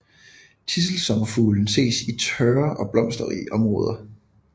Tidselsommerfuglen ses især i tørre og blomsterrige områder